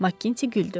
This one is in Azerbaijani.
Makinti güldü.